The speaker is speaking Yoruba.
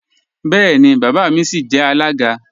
Bẹẹni, baba mi sìí jẹ alága.